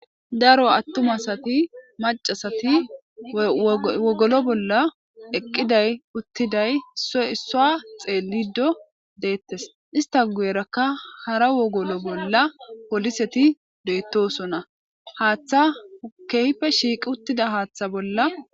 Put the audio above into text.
Daro attumasati macasati wogolo bolla eqqiday uttiday so issua xeelido deettes ista gu'erakka hara wogolo bolla poliseti deettosona haaththa hokehippe shiiqi uttida haaththa bolla..